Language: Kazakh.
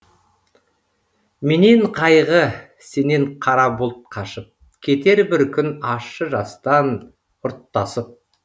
менен қайғы сенен қара бұлт қашып кетер бір күн ащы жастан ұрттасып